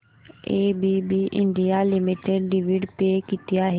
ABB India limited dividend pay किती आहे